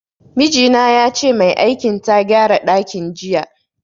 Miji na yace mai aikin ta gyara dakin jiya.